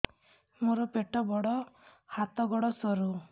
ମୋର ପେଟ ବଡ ହାତ ଗୋଡ ସରୁ